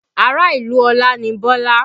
Ará ìlú Ọlá ni Bọ́lá